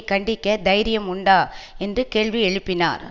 கண்டிக்க தைரியம் உண்டா என்று கேள்வி எழுப்பினார்